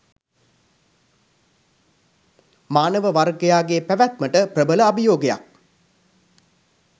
මානව වර්ගයාගේ පැවැත්මට ප්‍රබල අභියෝගයක්